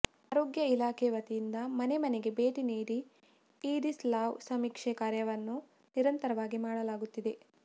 ಆರೋಗ್ಯ ಇಲಾಖೆ ವತಿಯಿಂದ ಮನೆ ಮನೆಗೆ ಭೇಟಿ ನೀಡಿ ಈಡಿಸ್ ಲಾರ್ವ ಸಮೀಕ್ಷೆ ಕಾರ್ಯವನ್ನು ನಿರಂತರವಾಗಿ ಮಾಡಲಾಗುತ್ತಿದೆ